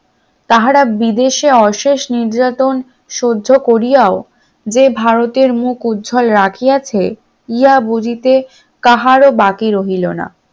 তাহারা বিদেশে অশেষ নির্যাতন সহ্য করিয়াও যে ভারতের মুখ উজ্জ্বল রাখিয়াছে ইহা বুঝিতে কাহারো বাকি রইল না